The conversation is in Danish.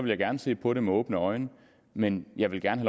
jeg gerne se på det med åbne øjne men jeg vil gerne